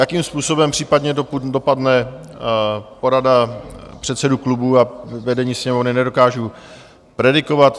Jakým způsobem případně dopadne porada předsedů klubů a vedení Sněmovny, nedokážu predikovat.